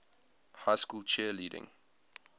high school cheerleading